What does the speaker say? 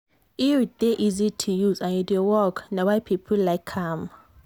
iud dey easy to use and e dey work na why people like am.